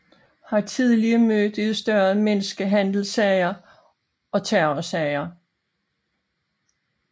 Har tillige mødt i større menneskehandelssager og terrorsager